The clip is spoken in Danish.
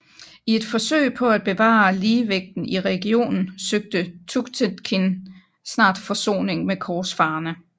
I et forsøg på at bevare ligevægten i regionen søgte Tughtekin snart forsoning med korsfarerne